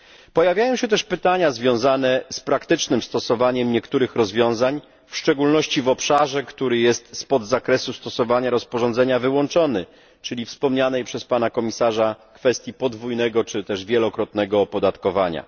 Pojawiają się też pytania związane z praktycznym stosowaniem niektórych rozwiązań, w szczególności w obszarze, który jest wyłączony z zakresu stosowania rozporządzenia, czyli we wspomnianej przez Pana Komisarza kwestii podwójnego czy też wielokrotnego opodatkowania.